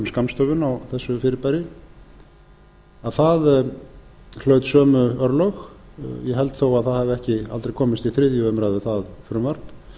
skammstöfun á þessu fyrirbæri að það hlaut sömu örlög ég held þó að það frumvarp hafi aldrei komist í þriðju umræðu það var